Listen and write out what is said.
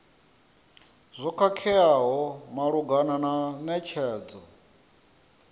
zwo khakheaho malugana na netshedzo